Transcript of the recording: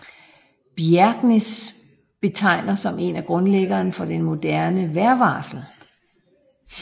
Bjerknes betegner som en af grundlæggerne af den moderne vejrvarsling